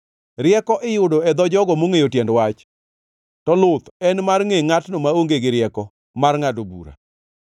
Rieko iyudo e dho jogo mongʼeyo tiend wach, to luth en mar ngʼe ngʼatno maonge gi rieko mar ngʼado bura.